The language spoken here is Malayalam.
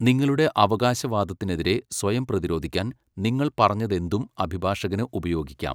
നിങ്ങളുടെ അവകാശവാദത്തിനെതിരെ സ്വയം പ്രതിരോധിക്കാൻ നിങ്ങൾ പറഞ്ഞതെന്തും അഭിഭാഷകന് ഉപയോഗിക്കാം.